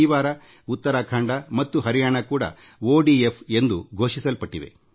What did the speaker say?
ಈ ವಾರ ಉತ್ತರಾಖಂಡ ಮತ್ತು ಹರಿಯಾಣಾ ಕೂಡಾ ಬಯಲ ಶೌಚ ಮುಕ್ತ ಎಂದು ಘೋಷಿಸಿಕೊಂಡಿವೆ